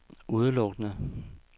udelukkende